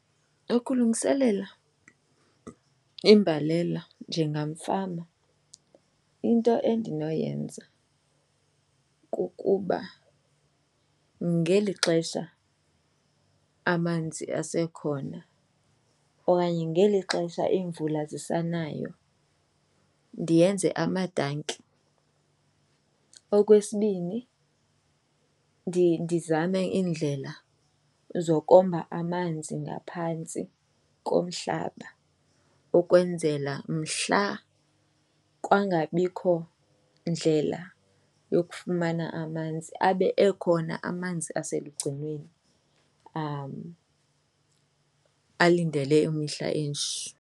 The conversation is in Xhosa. Ukulungiselela imbalela njengamfama into endinoyenza kukuba ngeli xesha amanzi asekhona okanye ngeli xesha iimvula zisanayo ndiyenze amatanki. Okwesibini, ndizame iindlela zokomba amanzi ngaphantsi komhlaba ukwenzela mhla kwangabikho ndlela yokufumana amanzi abe ekhona amanzi iselugcinweni am alindele imihla enje.